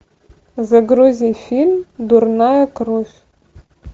загрузи фильм дурная кровь